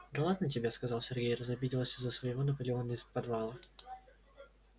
да ладно тебе сказал сергей разобиделась из-за своего наполеона из подвала